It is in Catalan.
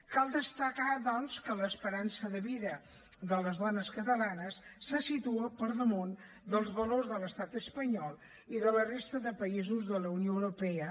cal destacar doncs que l’esperança de vida de les dones catalanes se situa per damunt dels valors de l’estat espanyol i de la resta de països de la unió europea